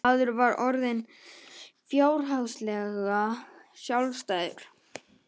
Maður var orðinn fjárhagslega sjálfstæður.